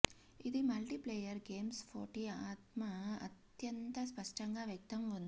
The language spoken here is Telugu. ఇది మల్టీప్లేయర్ గేమ్స్ పోటీ ఆత్మ అత్యంత స్పష్టంగా వ్యక్తం ఉంది